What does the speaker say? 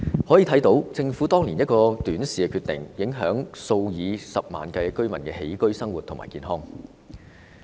由此可見，政府當年一個短視的決定，影響了數以十萬計居民的起居生活和健康。